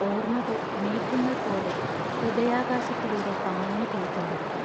ഓർമകൾ മേഘങ്ങൾ പോലെ ഹൃദയാകാശത്തിലൂടെ പാഞ്ഞു പൊയ്ക്കൊണ്ടിരിക്കും.